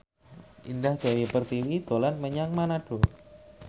Indah Dewi Pertiwi dolan menyang Manado